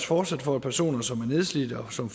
fortsat for at personer som er nedslidte og som